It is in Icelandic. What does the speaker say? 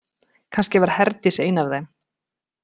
Kannski var Herdís ein af þeim.